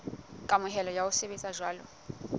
kamohelo ya ho sebetsa jwalo